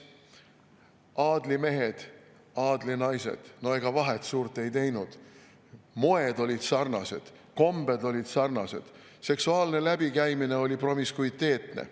Aadlimehed, aadlinaised – no ega vahet suurt ei teinud, moed olid sarnased, kombed olid sarnased, seksuaalne läbikäimine oli promiskuiteetne.